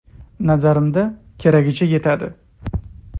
Nazarimizda, keragicha yetadi.